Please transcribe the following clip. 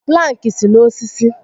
Plankị si n'osisi